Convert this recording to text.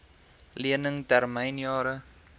lening termyn jare